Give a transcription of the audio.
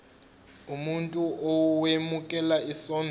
umuntu owemukela isondlo